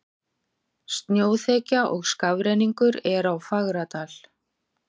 Snjóþekja og skafrenningur er á Fagradal